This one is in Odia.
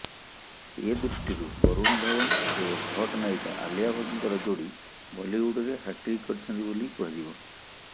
ଏଦୃଷ୍ଟିରୁ ବରୁଣ ଧଓ୍ବନ ଏବଂ ହଟ୍ ନାୟିକା ଆଲିଆ ଭଟ୍ଟଙ୍କର ଯୋଡି ବଲିଉଡରେ ହାଟ୍ରିକ୍ କରିଛନ୍ତି ବୋଲି କୁହାଯିବ